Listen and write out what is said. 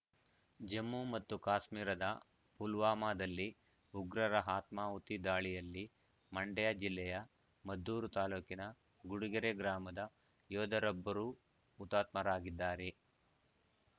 ಜಮ್ಮು ಮತ್ತು ಕಾಶ್ಮೀರದ ಪುಲ್ವಾಮಾದಲ್ಲಿ ಉಗ್ರರ ಆತ್ಮಾಹುತಿ ದಾಳಿಯಲ್ಲಿ ಮಂಡ್ಯ ಜಿಲ್ಲೆಯ ಮದ್ದೂರು ತಾಲೂಕಿನ ಗುಡಿಗೆರೆ ಗ್ರಾಮದ ಯೋಧರೊಬ್ಬರೂ ಹುತಾತ್ಮರಾಗಿದ್ದಾರೆ